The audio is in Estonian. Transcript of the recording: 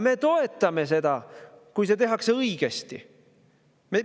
Me toetame selle, kui seda tehakse õigesti.